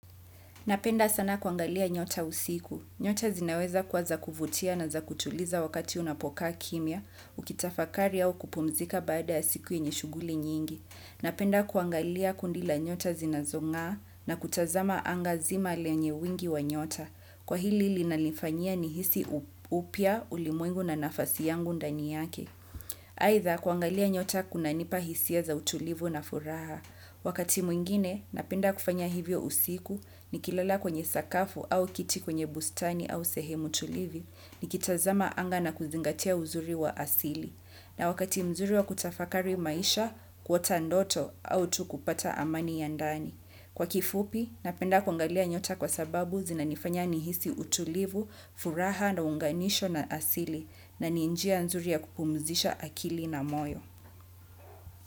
Napenda sana kuangalia nyota usiku. Nyota zinaweza kuwa za kuvutia na za kutuliza wakati unapokaa kimya, ukitafakari au kupumzika baada ya siku yenye shughuli nyingi. Napenda kuangalia kundi la nyota zinazong'aa na kutazama anga zima lenye wingi wa nyota. Kwa hili linanifanyia ni hisi upya ulimwengu na nafasi yangu ndani yake. Aidha kuangalia nyota kuna nipa hisia za utulivu na furaha. Wakati mwingine napenda kufanya hivyo usiku ni kilala kwenye sakafu au kiti kwenye bustani au sehemu tulivu ni kitazama anga na kuzingatia uzuri wa asili. Na wakati mzuri wa kutafakari maisha kuota ndoto au tu kupata amani yandani. Kwa kifupi, napenda kwangalia nyota kwa sababu zina nifanya nihisi utulivu, furaha na unganisho na asili na ni njia nzuri ya kupumzisha akili na moyo.